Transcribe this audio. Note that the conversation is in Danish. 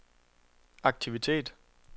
aktivitet